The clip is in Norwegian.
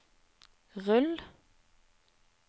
rull